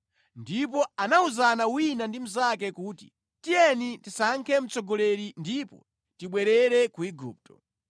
Ndipo anawuzana wina ndi mnzake kuti, “Tiyeni tisankhe mtsogoleri ndipo tibwerere ku Igupto.”